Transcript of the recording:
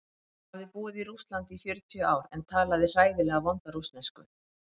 Hún hafði búið í Rússlandi í fjörutíu ár en talaði hræðilega vonda rússnesku.